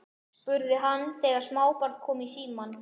spurði hann þegar smábarn kom í símann.